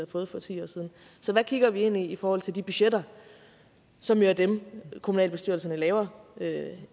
fået for ti år siden så hvad kigger vi ind i i forhold til de budgetter som jo er dem kommunalbestyrelserne laver